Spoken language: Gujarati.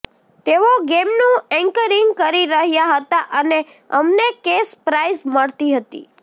તેઓ ગેમનું એન્કરિંગ કરી રહ્યા હતા અને અમને કેશ પ્રાઈઝ મળતી હતી